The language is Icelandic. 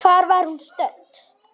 Hvar var hún stödd?